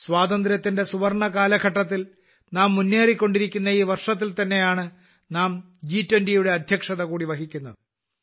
സ്വാതന്ത്ര്യത്തിന്റെ സുവർണ കാലഘട്ടത്തിൽ നാം മുന്നേറിക്കൊണ്ടിരിക്കുന്ന ഈ വർഷത്തിൽ തന്നെയാണ് നാം ജി20 യുടെ അധ്യക്ഷത കൂടി വഹിക്കുന്നത്